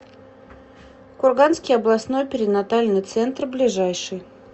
курганский областной перинатальный центр ближайший